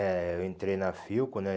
eh eu entrei na Filco, né?